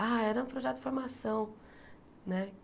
Ah, era um projeto de formação, né?